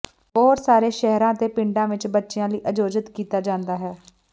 ਬਹੁਤ ਸਾਰੇ ਸ਼ਹਿਰਾਂ ਅਤੇ ਪਿੰਡਾਂ ਵਿੱਚ ਬੱਚਿਆਂ ਲਈ ਆਯੋਜਿਤ ਕੀਤਾ ਜਾਂਦਾ ਹੈ